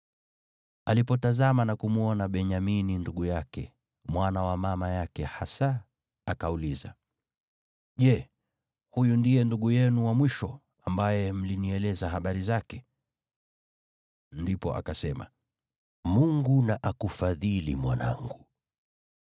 Alipotazama na kumwona Benyamini ndugu yake, mwana wa mama yake hasa, akauliza, “Je, huyu ndiye ndugu yenu wa mwisho, ambaye mlinieleza habari zake?” Ndipo akasema, “Mungu na akufadhili, mwanangu.”